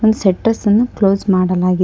ನ ಸೆಟ್ಟರ್ಸ್ ಅನ್ನು ಕ್ಲೋಸ್ ಮಾಡಲಾಗಿದೆ.